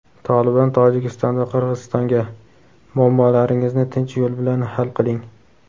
"Tolibon" Tojikiston va Qirg‘izistonga: "Muammolaringizni tinch yo‘l bilan hal qiling".